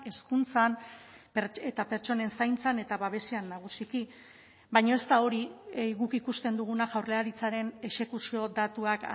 hezkuntzan eta pertsonen zaintzan eta babesean nagusiki baina ez da hori guk ikusten duguna jaurlaritzaren exekuzio datuak